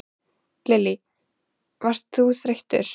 Lillý: Varst þú þreyttur?